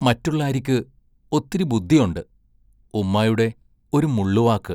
മറ്റുള്ളാരിക്ക് ഒത്തിരി ബുദ്ദിയൊണ്ട് ഉമ്മായുടെ ഒരു മുള്ളുവാക്ക്!